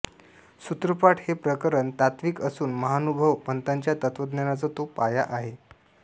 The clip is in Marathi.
सूत्रपाठ हे प्रकरण तात्त्विक असून महानुभाव पंथाच्या तत्त्वज्ञानाचा तो पाया आहे